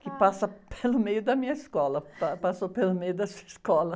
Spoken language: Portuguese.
que passa pelo meio da minha escola, passou pelo meio dessa escola.